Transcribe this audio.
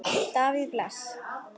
Davíð Bless.